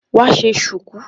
Wá ṣe ṣùkú.